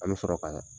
An bɛ sɔrɔ ka